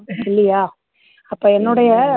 இல்லையா அப்போ என்னுடைய